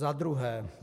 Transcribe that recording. Za druhé.